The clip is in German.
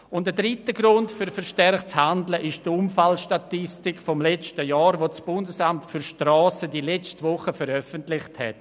Ein dritter Grund für verstärktes Handeln ist die Unfallstatistik des letzten Jahres, die das Bundesamt für Strassen (ASTRA) letzte Woche veröffentlicht hat.